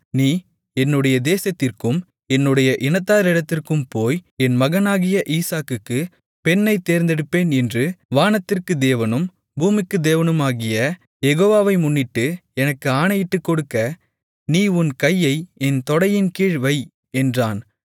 நீ என்னுடைய தேசத்திற்கும் என்னுடைய இனத்தாரிடத்திற்கும் போய் என் மகனாகிய ஈசாக்குக்குப் பெண்ணைத் தேர்ந்தெடுப்பேன் என்று வானத்திற்குத் தேவனும் பூமிக்குத் தேவனுமாகிய யெகோவாவை முன்னிட்டு எனக்கு ஆணையிட்டுக்கொடுக்க நீ உன் கையை என் தொடையின்கீழ் வை என்றான்